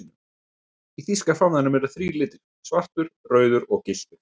Í þýska fánanum eru þrír litir, svartur, rauður og gylltur.